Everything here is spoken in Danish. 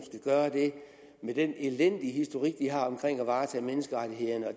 gøre det med den elendige historik de har med at varetage menneskerettighederne og